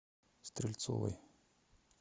стрельцовой